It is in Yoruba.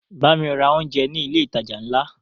Bámi ra oúnjẹ ní ilé ìtajà ńlá!